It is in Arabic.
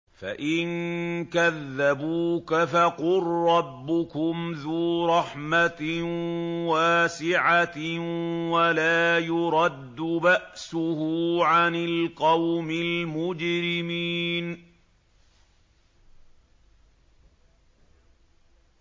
فَإِن كَذَّبُوكَ فَقُل رَّبُّكُمْ ذُو رَحْمَةٍ وَاسِعَةٍ وَلَا يُرَدُّ بَأْسُهُ عَنِ الْقَوْمِ الْمُجْرِمِينَ